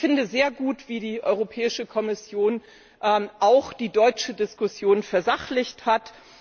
Ich finde sehr gut, wie die Europäische Kommission auch die deutsche Diskussion versachlicht hat.